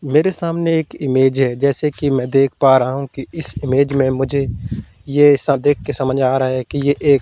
मेरे सामने एक इमेज है जैसे कि मैं देख पा रहा हूँ कि इस इमेज में मुझे ये ऐसा देखके समझ आ रहा है कि ये एक --